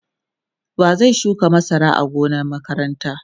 wa zai shuka masara a gonan makaranta?